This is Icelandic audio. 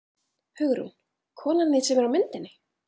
Hugrún: Konan þín sem er á myndinni?